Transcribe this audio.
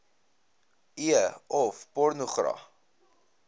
e of pornogra